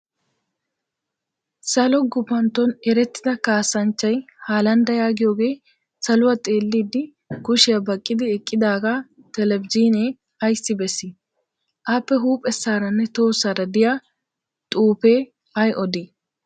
Salo gupantton erettida kaassanchchay haalandda yaagiyooge saluwaa xeellidi kushshiyaa baqqiddi eqqidaaga telbejiinee ayissi bessi? Appe huuphessaaranne tohossaara diyaa xuupee ayi odii?